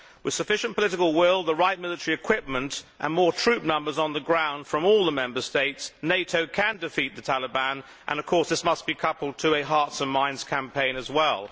With sufficient political will, the right military equipment and more troop numbers on the ground from all the Member States, NATO can defeat the Taliban and, of course, this must be coupled to a hearts and minds campaign as well.